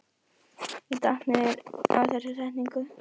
Ég datt niður á þessa setningu.